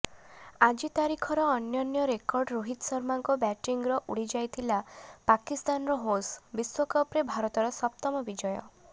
ଆଜି ତାରିଖର ଅନନ୍ୟ ରେକର୍ଡ ରୋହିତ ଶର୍ମାଙ୍କ ବ୍ୟାଟିଂରେ ଉଡିଯାଇଥିଲା ପାକିସ୍ତାନର ହୋସ୍ ବିଶ୍ୱକପରେ ଭାରତର ସପ୍ତମ ବିଜୟ